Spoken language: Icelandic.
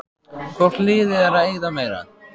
Hvort liðið er að eyða meira?